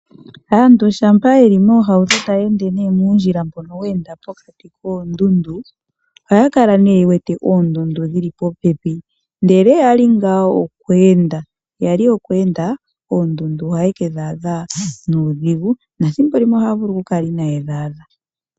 Aantu shampa yeli moohauto tayeende nee muundjila mbono weenda pokati koondudu, ohaya kala nee yewete oondudu dhili popepi ndele yali ngaa okweenda, yali okweenda oondudu oha yeke dhaadha nuudhigu nathimbo limwe ohaya vulu kukula inaye dhaadha.